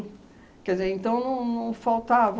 Quer dizer, então não não faltava...